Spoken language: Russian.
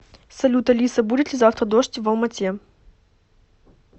салют алиса будет ли завтра дождь в алма ате